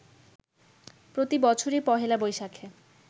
প্রতি বছরই পহেলা বৈশাখে